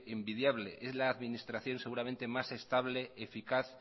envidiable es la administración seguramente más estable eficaz